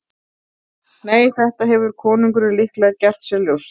Nei, þetta hefur konungurinn líklega gert sér ljóst.